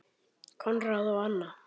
Konráð og Anna.